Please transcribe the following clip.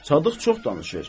Sadıq çox danışır.